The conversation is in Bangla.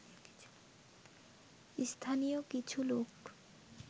স্থানীয় কিছু লোক